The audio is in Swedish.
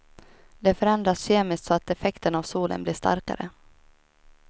De förändras kemiskt så att effekten av solen blir starkare.